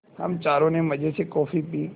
हम चारों ने मज़े से कॉफ़ी पी